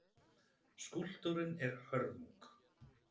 Skúlptúrinn er hörmung.